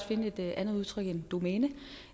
finde et andet udtryk end domæne